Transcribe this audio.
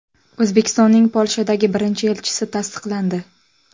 O‘zbekistonning Polshadagi birinchi elchisi tasdiqlandi.